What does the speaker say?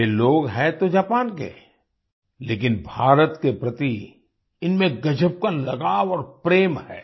वे लोग हैं तो जापान के लेकिन भारत के प्रति इनमें गज़ब का लगाव और प्रेम है